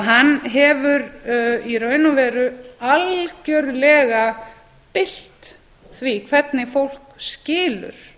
hann hefur í raun og veru algjörlega bylt því hvernig fólk skilur